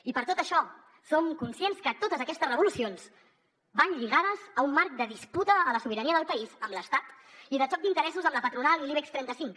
i per tot això som conscients que totes aquestes revolucions van lligades a un marc de disputa de la sobirania del país amb l’estat i de xoc d’interessos amb la patronal i l’ibex trenta cinc